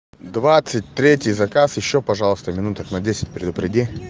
двадцать третий заказ ещё пожалуйста минуток на десять предупреди